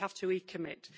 We have to recommit.